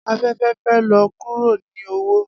Afẹfẹ fẹ lọ kuro ni owo